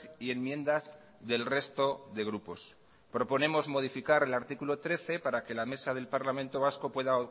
y enmiendas del resto de grupos proponemos modificar el artículo trece para que la mesa del parlamento vasco pueda